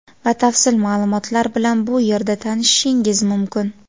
Batafsil maʼlumotlar bilan bu yerda tanishishingiz mumkin.